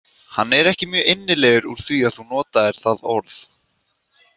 Hann er ekki mjög innilegur úr því að þú notaðir það orð.